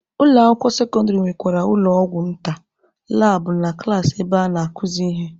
Ụlọ akwụkwọ sekọndịrị nwekwara ụlọ ọgwụ nta, labụ na klaasị ebe a na-akuzi ihe.